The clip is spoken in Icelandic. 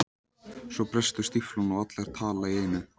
Svo brestur stíflan og allar tala í einu.